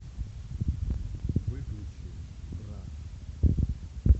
выключи бра